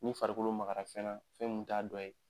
Ni farikolo makara fɛn na, fɛn mun t'a dɔ ye